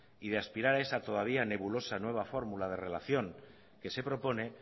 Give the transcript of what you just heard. y de aspirar a esa todavía nebulosa nueva fórmula de relación que se propone